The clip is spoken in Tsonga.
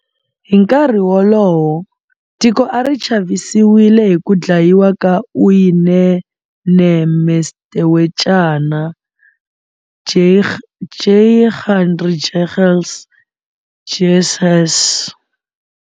Hi nkarhi wolowo, tiko a ri chavisiwile hi ku dlayiwa ka Uyinene Mrwetyana, Leighandre Jegels, Jesse Hess.